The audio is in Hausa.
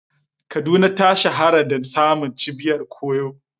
Kaduna ta shahara da samun cibiyar koyo.